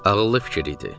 Ağıllı fikir idi.